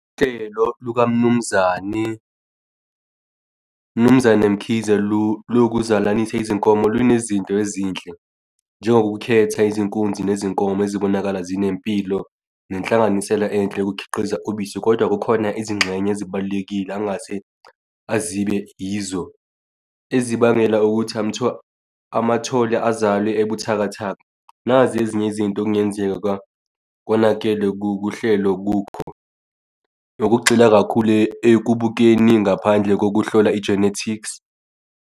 Uhlelo lukaMnumzani, Mnumzane Mkhize lokuzalanisa izinkomo lunezinto ezinhle njengokukhetha izinkunzi nezinkomo ezibonakala zinempilo nenhlanganisela enhle yokukhiqiza ubisi, kodwa kukhona izingxenye ezibalulekile angase azibe yizo ezibangela ukuthi amathole azale ebuthakathaka, nazi ezinye izinto okungenzeka konakele kuhlelo kukho. Nokugxila kakhulu ekubukeni ngaphandle kokuhlola i-genetics.